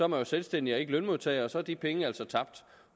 man jo selvstændig og ikke lønmodtager og så er de penge altså tabt